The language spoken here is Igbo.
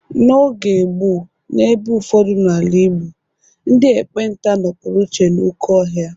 N’oge gboo, n’ebe ụfọdụ n’ala Igbo, ndị ekpenta nọpụrụ iche n’oké ọhịa